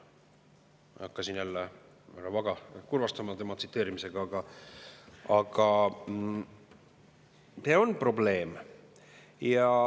Ma ei hakkan siin jälle härra Vaga kurvastama tema tsiteerimisega, aga see on probleem.